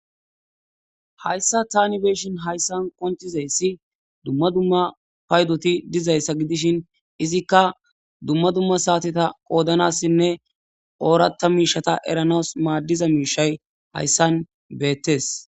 Haysa Tani be'ishin haysan qoncizaysi duma duma paydoti dizaysa gidishin izika duma duma sateta qodanasinne oratha mishata eranas madizaiishay haysan beetes